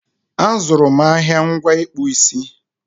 A zụrụ m ahịa ngwa ịkpụ isi